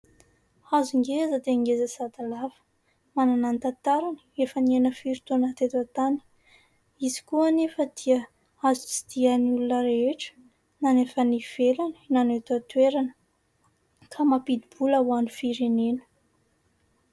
Hazo ngeza dia ngeza sady lava, manana ny tantarany, efa niaina firy taona teto an-tany. Izy koa anefa dia azo tsidihan'ny olona rehetra na ny avy any ivelany, na ny eto an-toerana ka mampidi-bola ho an'ny firenena.